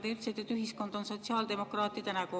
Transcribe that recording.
Te ütlesite, et ühiskond on sotsiaaldemokraatide nägu.